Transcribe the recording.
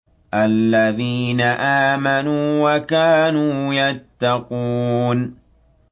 الَّذِينَ آمَنُوا وَكَانُوا يَتَّقُونَ